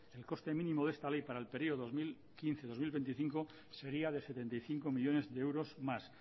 el coste mínimo de esta ley para el periodo dos mil quince dos mil veinticinco sería de setenta y cinco millónes de euros más